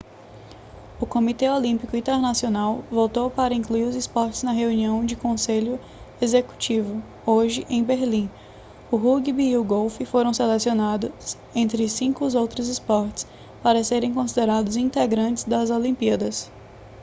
o comitê olímpico internacional votou para incluir os esportes na reunião do conselho executivo hoje em berlim o rúgbi e o golfe foram selecionados entre 5 outros esportes para serem considerados integrantes das olimpíadas